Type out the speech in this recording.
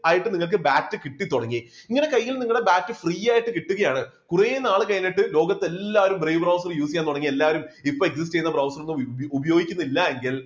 ആയിട്ട് നിങ്ങൾക്ക് BAT കിട്ടിത്തുടങ്ങി ഇങ്ങനെ കയ്യിൽ നിങ്ങളുടെ BATFree ആയിട്ട് കിട്ടുകയാണ് കുറെനാൾ കഴിഞ്ഞിട്ട് ലോകത്ത് എല്ലാവരും brave browser use ചെയ്യാൻ തുടങ്ങി എല്ലാരും ഇപ്പോൾ use ചെയ്യുന്ന browser ഒന്നും ഉപയോഗിക്കുന്നില്ല എങ്കിൽ